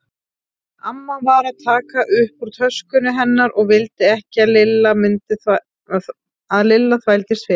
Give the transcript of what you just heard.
Amma var að taka upp úr töskunni hennar og vildi ekki að Lilla þvældist fyrir.